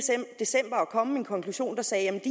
december at kom en konklusion der sagde at det